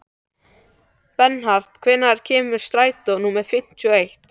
Bernharð, hvenær kemur strætó númer fimmtíu og eitt?